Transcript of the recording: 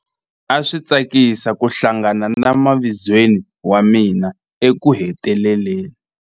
A swi tsakisa ku hlangana na mavizweni wa mina ekuheteleleni.